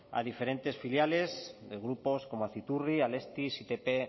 a diferentes filiales de grupos como aciturri alestis itp